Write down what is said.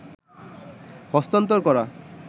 হস্তান্তর করা